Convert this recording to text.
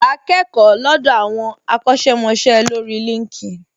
Wà á kẹ́kọ̀ọ́ lọ́dọ̀ àwọn akọ́ṣẹ́mọṣẹ́ lórí LinkedIn